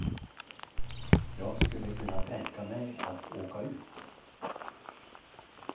Jag skulle kunna tänka mig att åka ut.